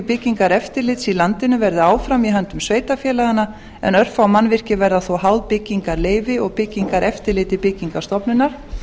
byggingareftirlits í landinu verði áfram í höndum sveitarfélaganna en örfá mannvirki verða þó háð byggingarleyfi og byggingareftirliti byggingarstofnunar